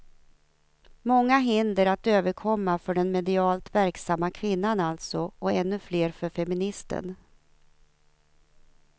Många hinder att överkomma för den medialt verksamma kvinnan alltså, och ännu fler för feministen.